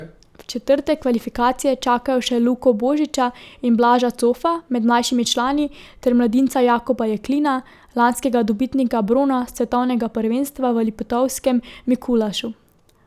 V četrtek kvalifikacije čakajo še Luko Božiča in Blaža Cofa med mlajšimi člani ter mladinca Jakoba Jeklina, lanskega dobitnika brona s svetovnega prvenstva v Liptovskem Mikulašu.